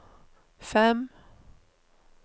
fem